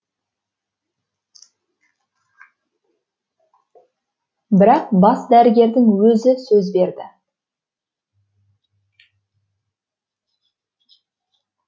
бірақ бас дәрігердің өзі сөз берді